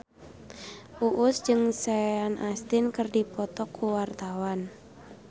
Uus jeung Sean Astin keur dipoto ku wartawan